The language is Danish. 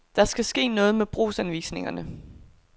Der skal ske noget med brugsanvisningerne.